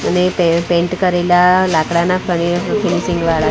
અને પે-પેન્ટ કરેલા લાકડાના --